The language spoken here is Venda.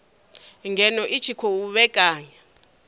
ngeno i tshi khou vhekanya